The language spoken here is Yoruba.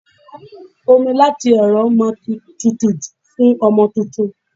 Omi láti ẹ̀rọ máa ti tutù jù fún ọmọ tuntun.